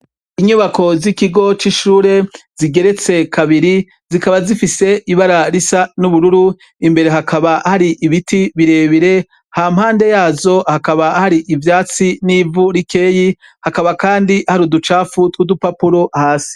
Inyubako zikigo c'ishuri zigeretse kabiri zikaba zifise ibara risa n'ubururu imbere hakaba hari ibiti birebire hampande yazo hakaba hari ivyatsi n'ivu rikeyi hakaba kandi hari uducafu tw'udupapuro hasi.